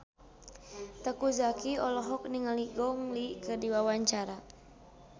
Teuku Zacky olohok ningali Gong Li keur diwawancara